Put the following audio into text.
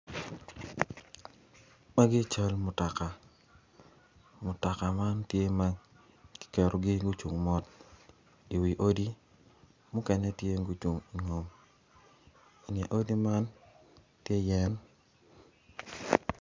Magi cal mutoka man tye ma kiketogi gucung mot iwi odi mukene tye ma gucung ingom inge odi man tye yen